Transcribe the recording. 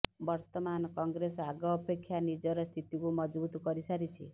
ବର୍ତ୍ତମାନ କଂଗ୍ରେସ ଆଗ ଅପେକ୍ଷା ନିଜର ସ୍ଥିତିକୁ ମଜବୁତ୍ କରିସାରିଛି